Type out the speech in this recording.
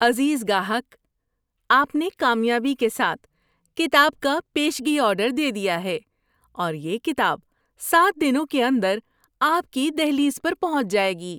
عزیز گاہک! آپ نے کامیابی کے ساتھ کتاب کا پیشگی آرڈر دے دیا ہے اور یہ کتاب سات دنوں کے اندر آپ کی دہلیز پر پہنچ جائے گی۔